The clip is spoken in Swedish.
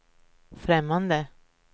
främmande